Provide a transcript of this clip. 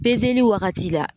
wagati la